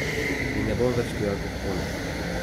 In ne bom več pil alkohola.